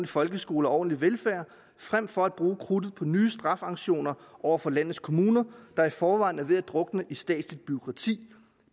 folkeskole og ordentlig velfærd frem for at bruge krudtet på nye straffesanktioner over for landets kommuner der i forvejen er ved at drukne i statsligt bureaukrati